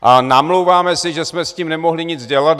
A namlouváme si, že jsme s tím nemohli nic dělat.